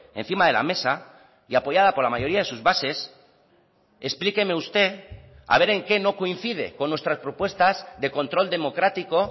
encima de la mesa y apoyada por la mayoría de sus bases explíqueme usted a ver en qué no coincide con nuestras propuestas de control democrático